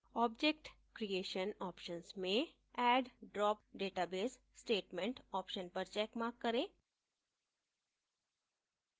object creation options में add drop database statement options पर checkmark करें